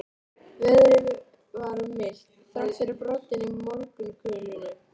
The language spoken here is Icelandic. Veðrið var milt, þrátt fyrir broddinn í morgunkulinu.